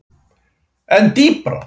En dýpra?